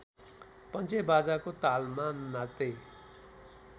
पञ्चेबाजाको तालमा नाच्दै